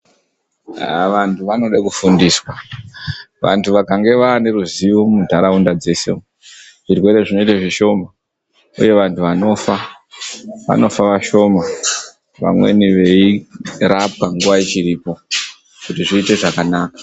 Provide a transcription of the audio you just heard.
Haa vantu vanode kufundiswa. Vantu kana vaneruzivo mundaraunda dzese umu, zvirwere zvinoite zvishoma, uye vantu vanofa vanofa vashoma. Vamweni veirapwa nguva ichiripo kuti zviite zvakanaka.